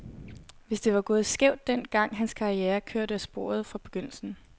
Hvis det var gået skævt den gang, var hans karriere kørt af sporet fra begyndelsen.